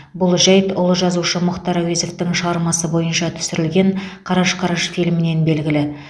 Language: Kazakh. бұл жәйт ұлы жазушы мұхтар әуезовтің шығармасы бойынша түсірілген қараш қараш фильмінен белгілі